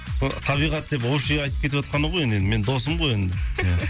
сол табиғат деп общий айтып кетіватқаны ғой енді менің досым ғой енді